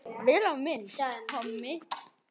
Vel á minnst: Hemmi.